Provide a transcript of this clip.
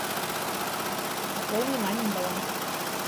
пополни мамин баланс